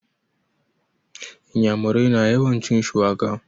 Inyamurai na yawan cin shuwaka